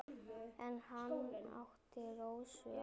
En hann átti Rósu að.